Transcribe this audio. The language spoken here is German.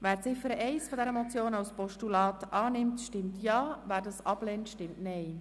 Wer die Ziffer 1 dieser Motion als Postulat annimmt, stimmt Ja, wer dies ablehnt, stimmt Nein.